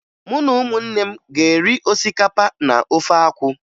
Mụ na ụmụnne m ga-eri osikapa na ofe akwụ